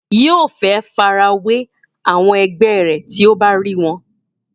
yóò fẹ́ farawé àwọn ẹgbẹ́ rẹ̀ tí ó bá rí wọn